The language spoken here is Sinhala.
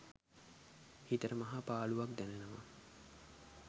හිතට මහා පාළුවක් දැනෙනවා.